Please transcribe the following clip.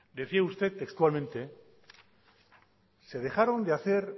decía ustedtextualmente se dejaron de hacer